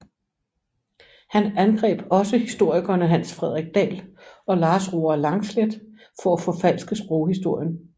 Han angreb også historikerne Hans Fredrik Dahl og Lars Roar Langslet for at forfalske sproghistorien